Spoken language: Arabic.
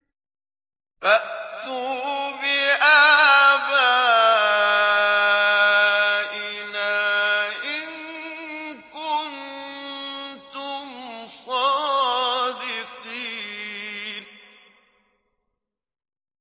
فَأْتُوا بِآبَائِنَا إِن كُنتُمْ صَادِقِينَ